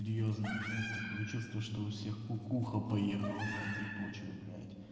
серьёзно блять такое чувство что у всех кукуха поехала на этой почве блять